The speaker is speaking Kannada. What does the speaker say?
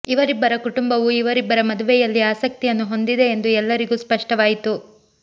ಇವರಿಬ್ಬರ ಕುಟುಂಬವು ಇವರಿಬ್ಬರ ಮದುವೆಯಲ್ಲಿ ಆಸಕ್ತಿಯನ್ನು ಹೊಂದಿದೆ ಎಂದು ಎಲ್ಲರಿಗೂ ಸ್ಪಷ್ಟವಾಯಿತು